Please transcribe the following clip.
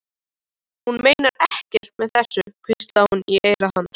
Hún meinar ekkert með þessu, hvíslaði hún í eyra hans.